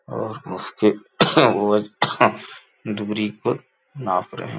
और उसकी दुरी को नाप रहे --